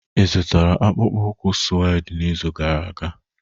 Ị zụtara akpụkpọ ụkwụ suede n'izu gara aga?